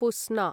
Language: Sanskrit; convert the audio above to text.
पुस्ना